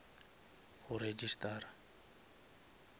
go registara